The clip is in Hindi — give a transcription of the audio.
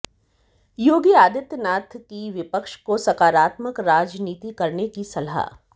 योगी आदित्यनाथ की विपक्ष को सकारात्मक राजनीति करने की सलाह